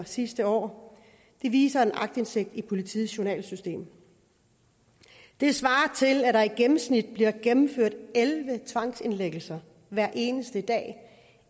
sidste år det viser en aktindsigt i politiets journalsystem det svarer til at der i gennemsnit blev gennemført elleve tvangsindlæggelser hver eneste dag